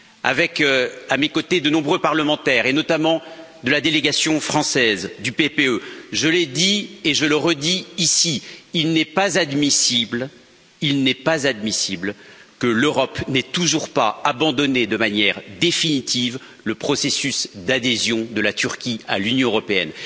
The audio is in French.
Avec, à mes côtés, de nombreux parlementaires et notamment de la délégation française du PPE je l'ai dit et je le redis ici, il n'est pas admissible que l'Europe n'ait toujours pas abandonné de manière définitive le processus d'adhésion de la Turquie à l'Union européenne.